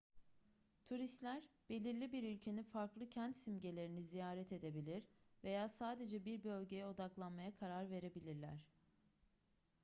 turistler belirli bir ülkenin farklı kent simgelerini ziyaret edebilir veya sadece bir bölgeye odaklanmaya karar verebilirler